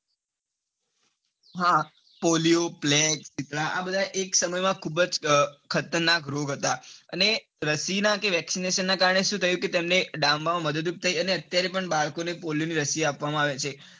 હા polio plague, શીતળા આ બધા એક સમય માં ખુબ જ ખતરનાક રોગ હતા અને રસી ન આ અને vaccination ના કારણે શું થયું કે તેમને ડામવામાં મદદરૂપ થઇ અને અત્યારે પણ બાળકો ને polio ની રસી આપવામાં આવે છે.